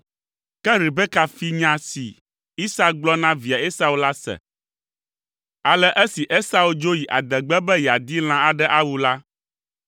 Ke Rebeka fi nya si Isak gblɔ na via Esau la se. Ale esi Esau dzo yi adegbe be yeadi lã aɖe awu la,